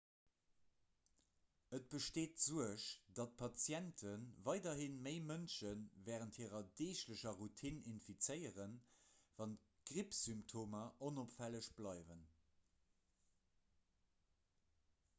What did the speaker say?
et besteet d'suerg datt patiente weiderhi méi mënschen wärend hirer deeglecher routine infizéieren wann d'grippsymptomer onopfälleg bleiwen